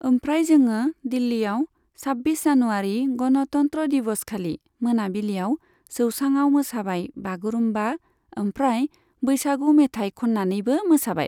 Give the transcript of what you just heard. ओमफ्राय जोङो दिल्लीआव साब्बिस जानुवारी गनतन्त्र दिवसखालि मोनाबिलिआव जौसांआव मोसाबाय बागुरुमबा ओमफ्राय बैसागु मेथाइ खननानैबो मोसाबाय।